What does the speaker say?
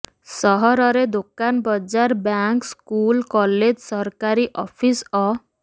ସହରରେ ଦୋକାନ ବଜାର ବ୍ୟାଙ୍କ ସ୍କୁଲ କଲେଜ ସରକାରୀ ଅଫିସ ଅ